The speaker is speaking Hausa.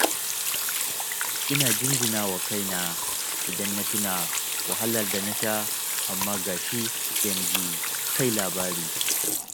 Ina jinjina wa kaina idan na tuna wahalar da na sha, amma ga shi yanzu sai labari